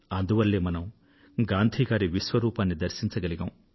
అందువల్లే మనం గాంధీ గారి విశ్వరూపాన్ని దర్శించగలిగాం